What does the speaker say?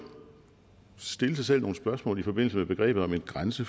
stille sig selv nogle spørgsmål i forbindelse med begrebet om en grænse